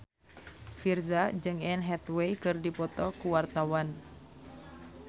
Virzha jeung Anne Hathaway keur dipoto ku wartawan